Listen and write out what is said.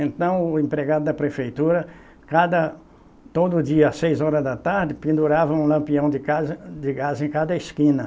Então, o empregado da prefeitura, cada, todo dia, às seis horas da tarde, pendurava um lampião de casa, de gás em cada esquina.